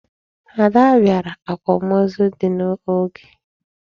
Ada bịara akwamozu dị m n'oge.